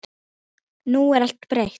Nú er allt breytt.